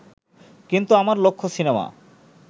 কিন্তু আমার লক্ষ্য সিনেমা